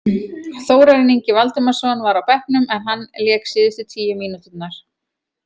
Þórarinn Ingi Valdimarsson var á bekknum en hann lék síðustu tíu mínúturnar.